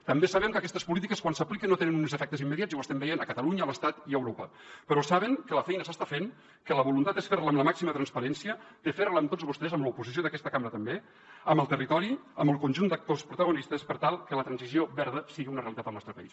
també sabem que aquestes polítiques quan s’apliquen no tenen uns efectes immediats i ho estem veient a catalunya a l’estat i a europa però saben que la feina s’està fent que la voluntat és fer la amb la màxima transparència fer la amb tots vostès amb l’oposició d’aquesta cambra també amb el territori amb el conjunt d’actors protagonistes per tal que la transició verda sigui una realitat al nostre país